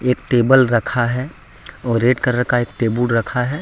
एक टेबल रखा है और रेड कलर का एक टेबुल रखा है।